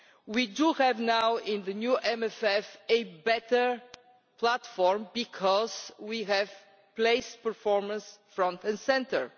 We do have now in the new MFF a better platform, because we have placed performance front and centre.